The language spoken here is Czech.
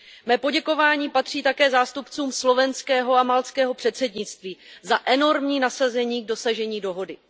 Mé poděkování patří také zástupcům slovenského a maltského předsednictví za enormní nasazení k dosažení dohody.